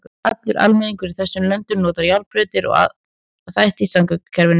Allur almenningur í þessum löndum notar járnbrautirnar og aðra þætti í samgöngukerfinu.